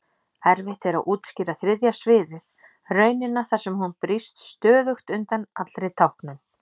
Erfitt er að útskýra þriðja sviðið, raunina þar sem hún brýst stöðugt undan allri táknun.